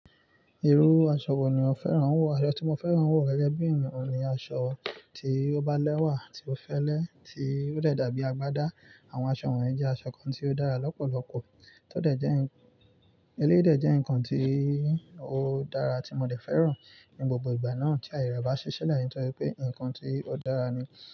Irú aṣọ wo ni o fẹ́ràn wò? Aṣọ tí mo fẹ́ràn wò gẹ́gẹ́ bí ẹ̀yàn ni aṣọ tí ó bá lẹ́wà tí ó fẹ́lẹ́ tí ó dẹ dàbí agbádá. Àwọn aṣọ wọ̀nyí jẹ́ aṣọ kan tí ó dára lọ́pọ̀lọpọ̀. Tó dẹ jẹ́ nǹkan, eléyìí dẹ jẹ́ nǹkan tí ó dára tí mo tẹ̀ fẹ́ràn ní gbogbo ìgbà náà tí àyè rẹ bá ṣi silẹ nítorí pé nǹkan tí ó dára ni.